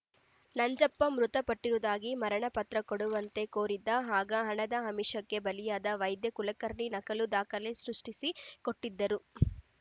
ನಂಜಪ್ಪ ಮೃತಪಟ್ಟಿರುವುದಾಗಿ ಮರಣ ಪತ್ರ ಕೊಡುವಂತೆ ಕೋರಿದ್ದ ಆಗ ಹಣದ ಆಮಿಷಕ್ಕೆ ಬಲಿಯಾದ ವೈದ್ಯ ಕುಲಕರ್ಣಿ ನಕಲಿ ದಾಖಲೆ ಸೃಷ್ಟಿಸಿ ಕೊಟ್ಟಿದ್ದರು